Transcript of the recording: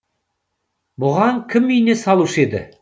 бұған кім ине салушы еді